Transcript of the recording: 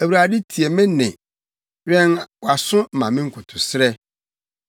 Awurade, tie me nne. Wɛn wʼaso ma me nkotosrɛ.